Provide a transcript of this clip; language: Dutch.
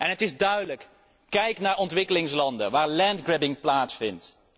Het is duidelijk kijk naar ontwikkelingslanden, waar land grabbing plaatsvindt.